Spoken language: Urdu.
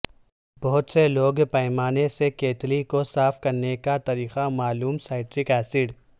بہت سے لوگ پیمانے سے کیتلی کو صاف کرنے کا طریقہ معلوم سائٹرک ایسڈ